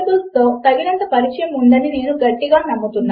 ప్రస్తుతము అక్కడ ఏమీ లేదు ఖాళీ కూడా లేదు ఈ సమస్య నుంచి బయటపడదాము